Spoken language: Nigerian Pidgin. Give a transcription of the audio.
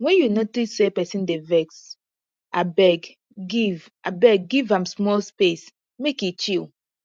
wen you notice say pesin dey vex abeg give abeg give am small space make e chill